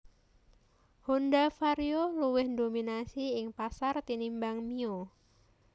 Honda Vario luwih ndominasi ing pasar tinimbang Mio